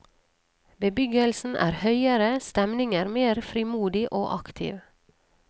Bebyggelsen er høyere, stemningen mer frimodig og aktiv.